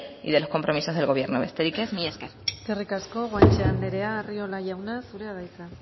y de los compromisos del gobierno besterik ez mila esker eskerrik asko guanche anderea arriola anderea zurea da hitza